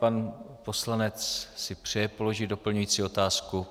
Pan poslanec si přeje položit doplňující otázku.